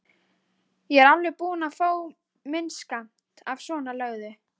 Ég er alveg búinn að fá minn skammt af svonalöguðu.